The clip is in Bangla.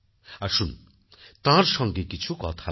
আসুন তার সঙ্গে কিছু কথা বলি